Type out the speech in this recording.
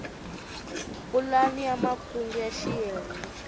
pulani ya makungu ya xiyenge